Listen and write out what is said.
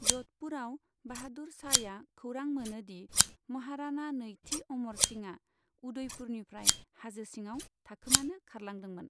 ज'धपुरआव बाहादुर शाहया खौरां मोनो दि महाराणा नैथि अमर सिंहआ उदयपुरनिफ्राय हाजो सिङाव थाखोमानो खारलांदोंमोन।